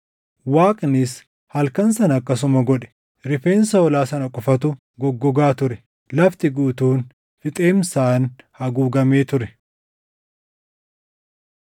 Waaqnis halkan sana akkasuma godhe. Rifeensa hoolaa sana qofatu goggogaa ture; lafti guutuun fixeensaan haguugamee ture.